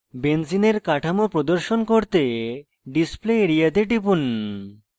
benzene কাঠামো প্রদর্শন করতে display area তে টিপুন